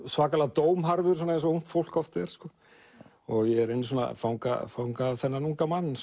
svakalega dómharður eins og ungt fólk oft er ég reyni að fanga fanga þennan unga mann